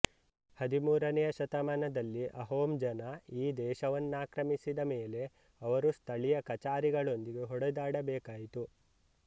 ಹದಿಮೂರನೆಯ ಶತಮಾನದಲ್ಲಿ ಅಹೋಂ ಜನ ಈ ದೇಶವನ್ನಾಕ್ರಮಿಸಿದ ಮೇಲೆ ಅವರು ಸ್ಥಳೀಯ ಕಚಾರಿಗಳೊಂದಿಗೆ ಹೊಡೆದಾಡಬೇಕಾಯಿತು